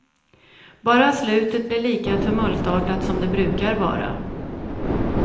Bara slutet blir lika tumultartat som det brukar vara.